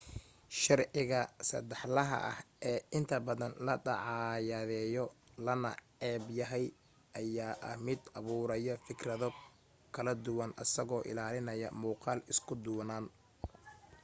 sharciga sadaxlaha ah ee inta badan la dacaayadeyo lana neceb yahay ayaa ah mid abuuraya fikrado kala duwan asagoo ilaalinaya muuqaal isku duwanaan